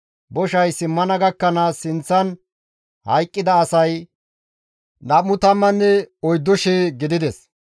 Boshay simmana gakkanaas sinththan hayqqida asay 24,000 gidides.